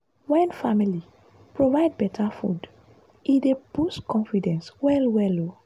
wen family provide better food e dey boost confidence well-well. um